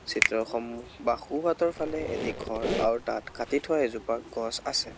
চিত্ৰসন্মুখ বা সোঁহাতৰফালে এটি ঘৰ আৰু তাত কাটি থোৱা এজোপা গছ আছে।